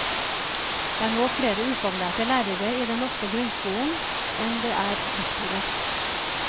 Det er nå flere ufaglærte lærere i den norske grunnskolen, enn det er lektorer.